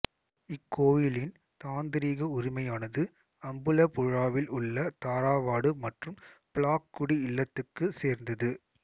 இக்கோயிலின் தாந்த்ரீக உரிமையானது அம்புலபுழாவில் உள்ள தாராவாடு மற்றும் பிளாக்குடி இல்லத்துக்கு சேர்ந்தது